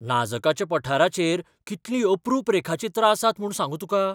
नाजकाच्या पठाराचेर कितलीं अप्रूप रेखाचित्रां आसात म्हूण सांगू तुका!